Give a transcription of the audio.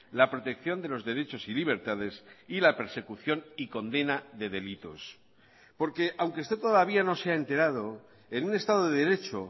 la protección de los derechos y libertades y la persecución y condena de delitos porque aunque usted todavía no se ha enterado en un estado de derecho